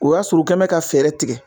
O y'a sɔrɔ u kɛ bɛ ka fɛɛrɛ tigɛ